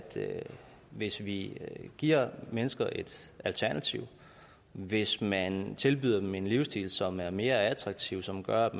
hvis vi giver mennesker et alternativ hvis man tilbyder dem en livsstil som er mere attraktiv og som gør at